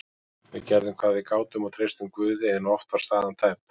Við gerðum hvað við gátum og treystum Guði en oft var staðan tæp.